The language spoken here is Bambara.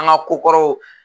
An ka ko kɔrɔw